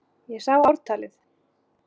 Ég sá ártalið!